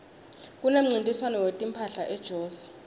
kunemncintiswano wetimphahla ejozi